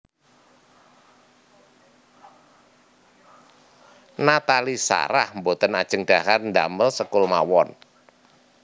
Nathalie Sarah mboten ajeng dhahar ndamel sekul mawon